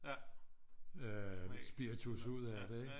Spiritus ud af det ikke